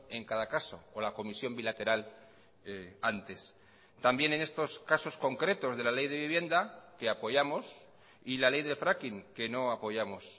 en cada caso o la comisión bilateral antes también en estos casos concretos de la ley de vivienda que apoyamos y la ley de fracking que no apoyamos